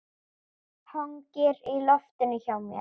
Hangir í loftinu hjá mér.